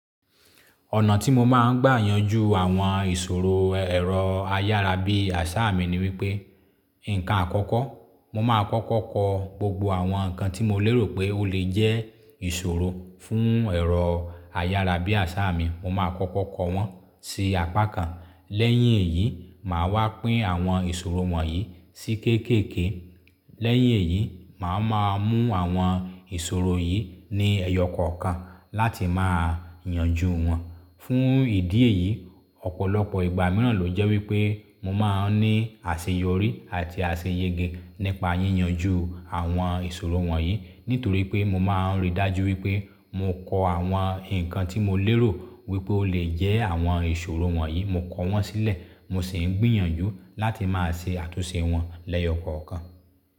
Ọ̀nà tí mo máa ń gbà yanjú àwọn ìṣòro ẹ̀rọ ayára bí àṣá mi ni wípé, nǹkan àkọ́kọ́, mo máa kọ́kọ́ kọ gbogbo àwọn nǹkan tí mo lérò pé ó lè jẹ́ ìṣòro fún ẹ̀rọ ayára bí àṣá mi, mo máa kọ́kọ́ kọ wọ́n sí apá kan. Lẹ́yìn èyí, màá wá pín àwọn ìṣòro wọ̀nyí sí kéékèèké. Lẹ́yìn èyí, màá máa mú àwọn ìṣòro yìí ní ẹyọ kọ̀ọ̀kan láti máa yanjú wọn. Fún ìdí èyí, ọ̀pọ̀lọpọ̀ ìgbà mìíràn ló jẹ́ wípé mo máa ń ní àṣeyọrí àti àṣeyẹ́ge nípa yíyanjú àwọn ìṣòro wọ̀nyí nítorí pé mo máa ń rí dájú wípé mo kọ àwọn nǹkan tí mo lérò wípé ó lè jẹ́ àwọn ìṣòro wọ̀nyí, mo kọ wọ́n sílẹ̀, mo sì ń gbìyànjú láti máa ṣe àtúnṣe wọn lẹyọ kọ̀ọ̀kan.